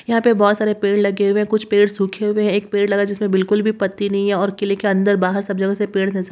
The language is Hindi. यहाँ पे बहुत सारे पेड़ लगे हुए हैं कुछ पेड़ सूखे हुए हैं एक पेड़ लगा है जिसमें बिल्कुल भी पत्ती नहीं है और किले के अंदर बाहर सब जगह से पेड़ नजर --